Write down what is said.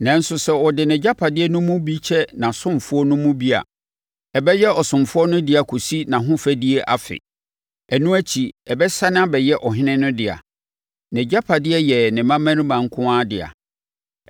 Nanso sɛ ɔde nʼagyapadeɛ no mu bi kyɛ nʼasomfoɔ no mu bi a, ɛbɛyɛ ɔsomfoɔ no dea kɔsi nʼahofadie afe. Ɛno akyi ɛbɛsane abɛyɛ ɔhene no dea. Nʼagyapadeɛ yɛ ne mmammarima nko ara dea.